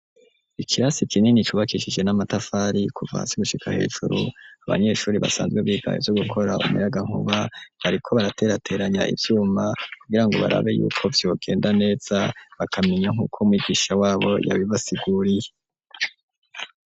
Ikirasi kinini cubakishije n'amatafari kuva hasi gushika hejuru abanyeshuri basanzwe biga ivyo gukora umurayankuba bariko baraterateranya ivyuma kugirango barabe yuko vyogenda neza bikamera nkunko mwigisha wabo yabibasiguriye.